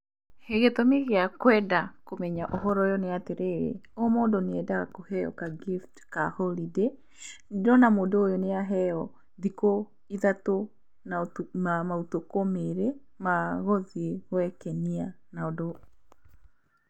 Gĩtũmi gĩa kwenda kũmenya ũhoro ũyũ nĩ atĩrĩrĩ, o mũndũ nĩ endaga kũheo ka gift ka horidĩ, ndĩrona mũndũ ũyũ nĩ aheo thikũ ithatũ na maũtukũ merĩ ma gũthiĩ gwĩkenia na ũndũ